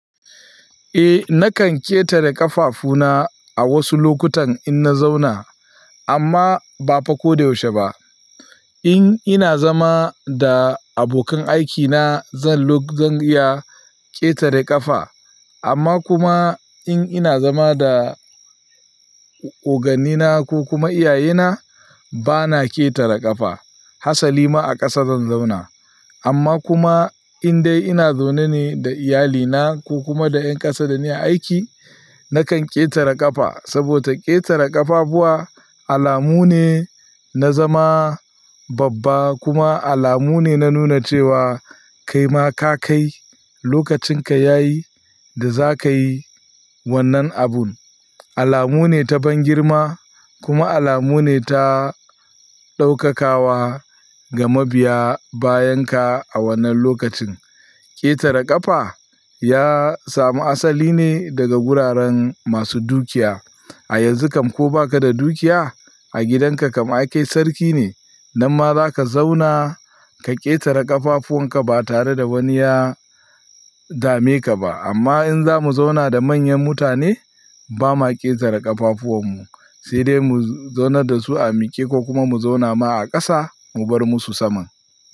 Eh nakan ƙetare ƙafafuna a wasu lokutan in na zauna amma ba fa ko da yaushe ba. In ina zama da abokan aikina zan iya ƙetare ƙafa amma kuma in ina zama da oganni na ko kuma iyaye na bana ƙetare ƙafa. Hasali ma a ƙasa zan zauna amma kuma in dai ina zaune ne da iyali na ko kuma da ƴan ƙasa da nake aiki nakan ƙetare ƙafa saboda ƙetare ƙafafuwa alamu ne na zama babba kuma alamu ne na nuna cewa kaima ka kai lokacin ka yayi da zaka yi wannan abun. Alamu ne ta ban girma kuma alamu ne ta ɗaukakawa ga mabiya bayan ka a wannan lokacin. Ƙetare ƙafa ya samu asali ne daga guraren masu dukiya. A yanzu kam ko baka da dukiya a gidan ka kam ai kai sarki ne nan ma zaka zauna ka ƙetare ƙafafuwan ka ba tare da wani ya dame ka ba amma in zamu zauna da manyan mutane ba ma ƙetare ƙafafuwan mu sai dai mu zauna da su a miƙe ko kuma mu zauna ma a ƙasa mu bar musu saman.